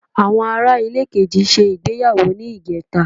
Àwọn Ará ilé kejì ṣe ìgbéyàwó ní ìjẹta